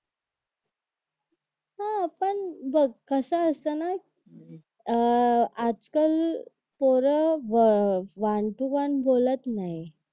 अरे बघ कसं असतं ना अह आजकाल पोरं वन टू वन बोलत नाही